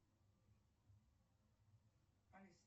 алиса